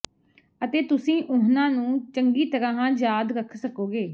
ਅਤੇ ਤੁਸੀਂ ਉਨ੍ਹਾਂ ਨੂੰ ਚੰਗੀ ਤਰ੍ਹਾਂ ਯਾਦ ਰੱਖ ਸਕੋਗੇ